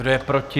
Kdo je proti?